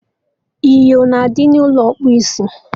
Inyo na adị n'ụlọ ịkpụ isi